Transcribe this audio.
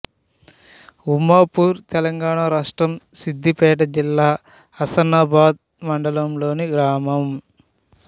ఉమ్మాపూర్ తెలంగాణ రాష్ట్రం సిద్ధిపేట జిల్లా హుస్నాబాద్ మండలంలోని గ్రామం